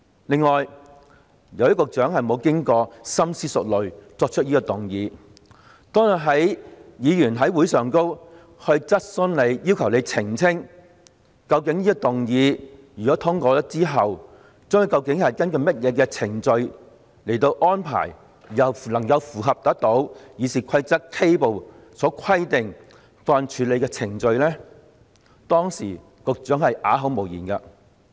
此外，由於局長沒有經過深思熟慮便提出這項議案，故此，當日議員在會議上向他提出質詢，要求他澄清如果這項議案獲通過，之後究竟將根據甚麼程序來作安排，以能符合《議事規則》K 部所規定的法案處理程序時，局長啞口無言。